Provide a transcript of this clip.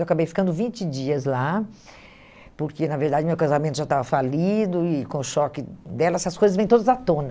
Eu acabei ficando vinte dias lá, porque, na verdade, meu casamento já estava falido e, com o choque dela, essas coisas vêm todas à tona.